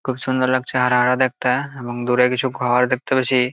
খুব সুন্দর লাগছে হারা হারা দেখতে এবং দূরে কিছু ঘর দেখতে পেছি।